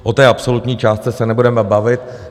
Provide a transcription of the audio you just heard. O té absolutní částce se nebudeme bavit.